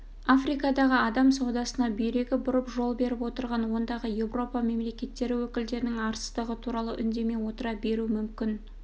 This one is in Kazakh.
африкада адам саудасына бүйрегі бұрып жол беріп отырған ондағы еуропа мемлекеттері өкілдерінің арсыздығы туралы үндемей отыра беру мүмкін